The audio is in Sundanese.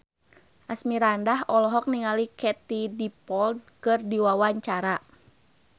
Asmirandah olohok ningali Katie Dippold keur diwawancara